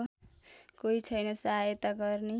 कोही छैन सहायता गर्ने